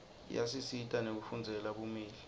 iyasisita nekufundzela bumeli